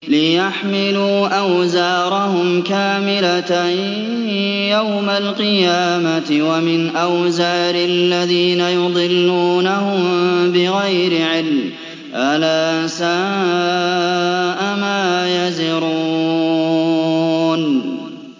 لِيَحْمِلُوا أَوْزَارَهُمْ كَامِلَةً يَوْمَ الْقِيَامَةِ ۙ وَمِنْ أَوْزَارِ الَّذِينَ يُضِلُّونَهُم بِغَيْرِ عِلْمٍ ۗ أَلَا سَاءَ مَا يَزِرُونَ